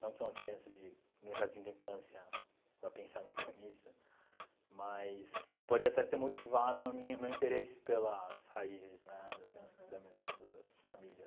Não que uma criança de no jardim da infância vá pensar muito nisso, mas pode até ter motivado a minha o meu interesse pelas raízes né das minhas da minha das famílias